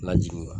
Lajigin wa